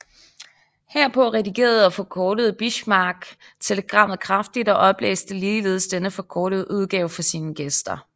Herpå redigerede og forkortede Bismarck telegrammet kraftigt og oplæste ligeledes denne forkortede udgave for sine gæster